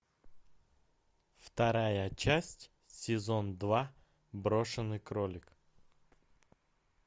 вторая часть сезон два брошенный кролик